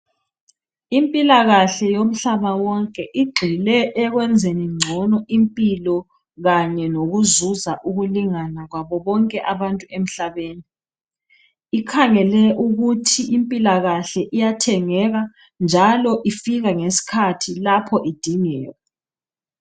Impilakahle yomhlaba wonke igxile ekwenzeni ngcono impilo . Kanye lokuzuza ukulingana kwabo bonke abantu emhlabeni .Ikhangele ukuthi impilakahle iyathengeka njalo ifika ngesikhathi lapho idingeka.